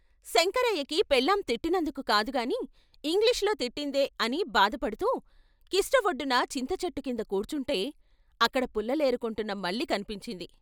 శంకరయ్యకి పెళ్ళాం తిట్టినందుకు కాదుగాని ఇంగ్లీషులో తిట్టిందే అని బాధ పడుతూ కిష్ట వొడ్డున చింతచెట్టుకింద కూర్చుంటే అక్కడ పుల్లలేరు కుంటున్న మల్లి కన్పించింది.